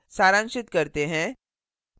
सारांशित करते हैं